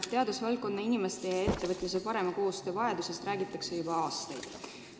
Teadusvaldkonna inimeste ja ettevõtjate parema koostöö vajadusest on räägitud juba aastaid.